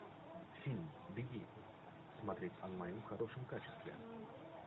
фильм беги смотреть онлайн в хорошем качестве